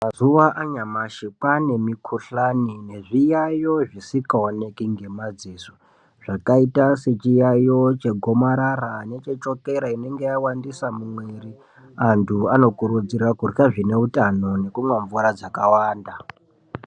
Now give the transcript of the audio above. Mazuva anyashi kwaane mikuhlani nezviyayo zvisingaoneke ngemadziso zvakaite sechiyayo chegomarara nechechokera inenge yawandisa mumwiri antu anokurudzirwa kurya zvine utano nekumwa mvura dzakawanda .